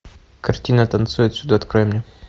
картина танцуй отсюда открой мне